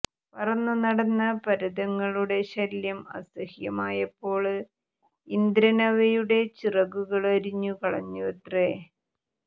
പറന്നു നടന്ന പര്വതങ്ങളുടെ ശല്യം അസഹ്യമായപ്പോള് ഇന്ദ്രന് അവയുടെ ചിറകുകള് അരിഞ്ഞുകളഞ്ഞുവത്രെ